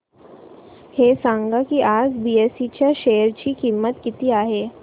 हे सांगा की आज बीएसई च्या शेअर ची किंमत किती आहे